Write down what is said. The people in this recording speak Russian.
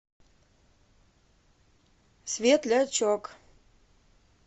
светлячок